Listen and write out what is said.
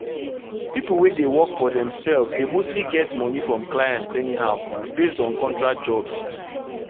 people wey dey work for themselves dey mostly get money from clients anyhow based on contract jobs.